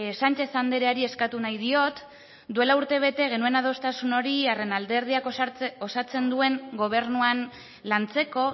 sánchez andreari eskatu nahi diot duela urtebete genuen adostasun hori haren alderdiak osatzen duen gobernuan lantzeko